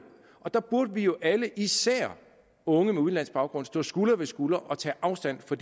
og der burde vi jo alle især unge med udenlandsk baggrund stå skulder ved skulder og tage afstand fra